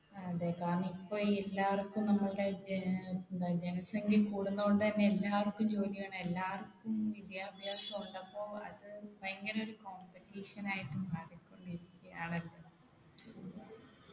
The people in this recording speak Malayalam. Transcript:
അതെ കാരണം ഇപ്പൊ ഈ എല്ലാർക്കും നമ്മളുടെ ഏർ എന്താ ജനസംഖ്യ കൂടുന്നോണ്ട് തന്നെ എല്ലാവർക്കും ജോലി വേണം എല്ലാവര്‍ക്കും വിദ്യാഭ്യാസം ഉണ്ടപ്പോ അത് ഭയങ്കര ഒരു competition ആയിട്ട് മാറികൊണ്ടിരിക്കുയാണല്ലോ